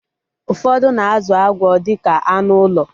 Ụfọdụ na-azụ agwọ dịka anụ ụlọ